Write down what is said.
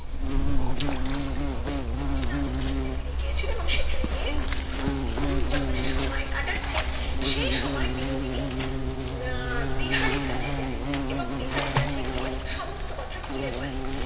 সে তার মেশ বাড়িতে ফিরে গিয়েছিলো এবং সেখানে গিয়ে যখন সে সময় কাটাচ্ছে সেই সময় বিনোদিনী আহ বিহারীর কাছে যায় এবং বিহারীর কাছে গিয়ে সমস্ত কথা খুলে বলে